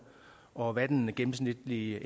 og hvad den gennemsnitlige